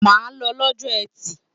Má lọ lọ́jọ́ Etì!